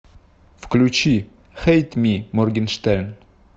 включи хэйт ми моргенштерн